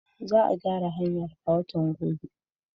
Za a gyara hanyar a watan gobe.